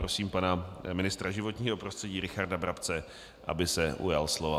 Prosím pana ministra životního prostředí Richarda Brabce, aby se ujal slova.